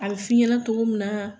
A bi f'i ɲɛnɛ togo min na